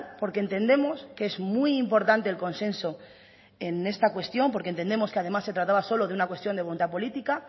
porque entendemos que es muy importante el consenso en esta cuestión porque entendemos que además se trataba solo de una cuestión de voluntad política